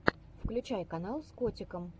включай канал с котиком